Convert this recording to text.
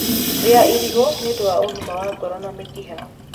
rĩa irigu nĩũndũ wa ũgima wa ngoro na mĩkiha